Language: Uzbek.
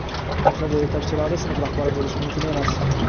yoshlar yetakchilari sinf rahbari bo‘lishi mumkin emas.